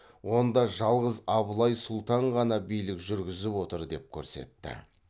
онда жалғыз абылай сұлтан ғана билік жүргізіп отыр деп көрсетті